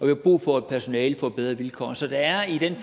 har brug for at personalet får bedre vilkår så der er i den